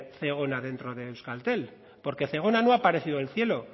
zegona dentro de euskaltel porque zegona no ha aparecido del cielo